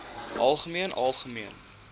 algemeen algemeen